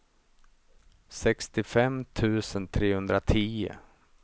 sextiofem tusen trehundratio